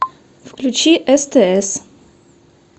включи стс